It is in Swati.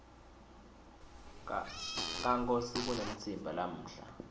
kankosi kunemtsimba namuhla